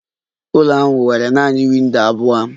Ụlọ ahụ nwere nanị windo abụọ.